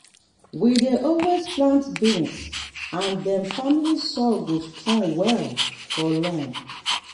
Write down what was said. we dey always plant beans and dem family so soil go strong well for long.